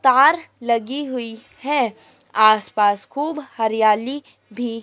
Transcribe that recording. तार लगी हुई है आस पास खूब हरियाली भी--